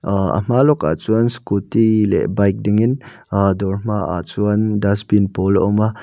aa a hma lawkah chuanin scooty leh bike dingin dawr hmaah chuan dustbin pawl a awm a.